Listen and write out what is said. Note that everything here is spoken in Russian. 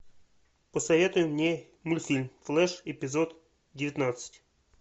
посоветуй мне мультфильм флэш эпизод девятнадцать